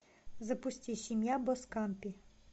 запусти семья боскампи